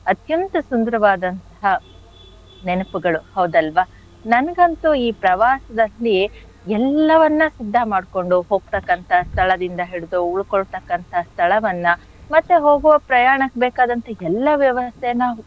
ಅತ್ಯಂತ ಸುಂದರವಾದಂಥಹ ನೆನಪುಗಳು ಹೌದಲ್ವ? ನನ್ಗಂತು ಈ ಪ್ರವಾಸದಲ್ಲಿ ಎಲ್ಲವನ್ನ ಶುದ್ಧ ಮಾಡ್ಕೊಂಡು ಹೋಗ್ತಕ್ಕಂಥ ಸ್ಥಳದಿಂದ ಹಿಡಿದು ಉಳ್ಕೊಳ್ತಕ್ಕಂಥ ಸ್ಥಳವನ್ನ ಮತ್ತೆ ಹೋಗೋ ಪ್ರಯಾಣಕ್ ಬೇಕಾದಂಥ ಎಲ್ಲಾ ವ್ಯವಸ್ಥೆನ,